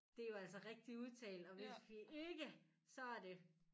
Det er jo altså rigtig udtale og hvis vi ikke så er det